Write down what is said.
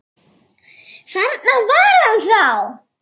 Þarna var hann þá!